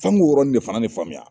Fo an k'o yɔrɔnin de fana de faamuya.